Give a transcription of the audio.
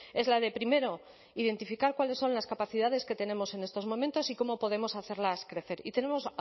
es la de primero identificar cuáles son las capacidades que tenemos en estos momentos y cómo podemos hacerlas crecer y tenemos